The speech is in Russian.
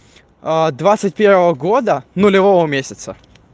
а двадцать первого года нулевого месяца